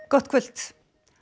gott kvöld